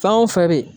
Fɛn o fɛn de